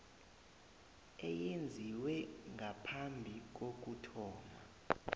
eyenziwe ngaphambi kokuthoma